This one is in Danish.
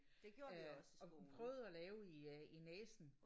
Det gjorde vi også i skolen